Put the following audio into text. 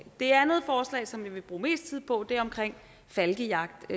det andet forslag som vi vil bruge mest tid på er omkring falkejagt